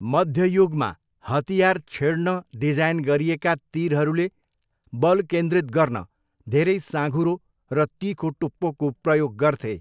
मध्य युगमा हतियार छेड्न डिजाइन गरिएका तिरहरूले बल केन्द्रित गर्न धेरै साँघुरो र तिखो टुप्पोको प्रयोग गर्थे।